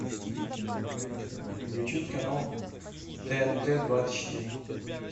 включить канал тнт двадцать четыре